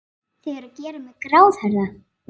Þau eru að gera mig gráhærða!